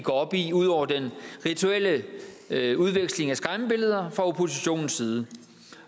op i ud over den rituelle udveksling af skræmmebilleder fra oppositionens side